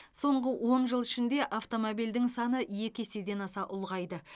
соңғы он жыл ішінде автомобиль саны екі еседен аса ұлғайды